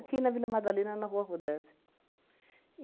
Aqui na Vila Madalena, na Rua Rodesia.